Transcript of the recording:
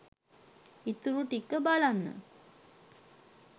ඉතුරු ටික බලන්න